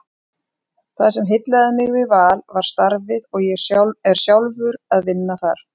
Það sem heillaði mig við Val var starfið og ég er sjálfur að vinna þar.